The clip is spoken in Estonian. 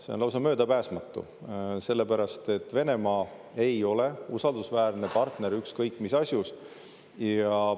See on lausa möödapääsmatu, sellepärast et Venemaa ei ole usaldusväärne partner ükskõik mis asjus.